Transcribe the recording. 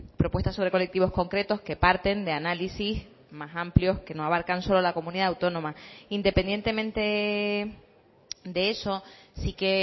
propuestas sobre colectivos concretos que parten de análisis más amplios que no abarcan solo la comunidad autónoma independientemente de eso sí que